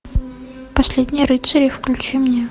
последние рыцари включи мне